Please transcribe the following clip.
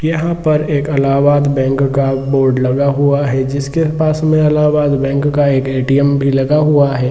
यहां पर एक इलाहाबाद बैंक का बोर्ड लगा हुआ हैजिसके पास में इलाहाबाद बैंक का ए.टी.एम. भी लगा हुआ है।